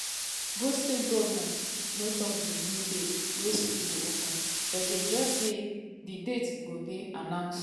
both state goments no tok di new date wen school go open but dem just say di date go dey announced.